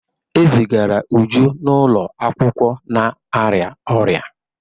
E zigara Uju n'ụlọ akwụkwọ na-arịa ọrịa.